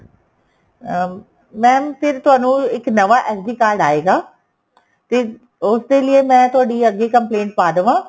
ਅਹ mam ਫ਼ਿਰ ਤੁਹਾਨੂੰ ਇੱਕ ਨਵਾ SD card ਆਏਗਾ ਤੇ ਉਸ ਦੇ ਲਈ ਮੈਂ ਅੱਗੇ ਤੁਹਾਡੀ complaint ਪਾ ਦਵਾ